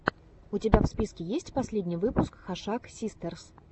у тебя в списке есть последний выпуск хашак систерс